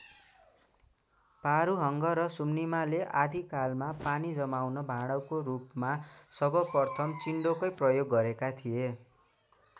पारूहाङ र सुम्निमाले आदिकालमा पानी जमाउने भाँडोको रूपमा सर्वप्रथम चिन्डोकै प्रयोग गेरेका थिए।